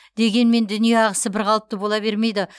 дегенмен дүние ағысы бірқалыпты бола бермейді